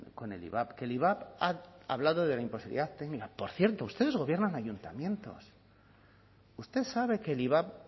con el ivap que el ivap ha hablado de la imposibilidad técnica por cierto ustedes gobiernan ayuntamiento usted sabe que el ivap